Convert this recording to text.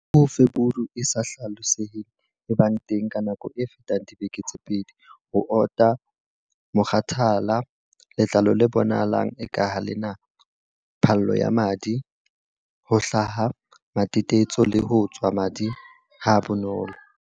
U Feburu e sa hlaloseheng e bang teng ka nako e fetang dibeke tse pedi, ho ota, mokgathala, letlalo le bonahalang eka ha le na phallo ya madi, ho hlaha matetetso le ho tswa madi ha bonolo.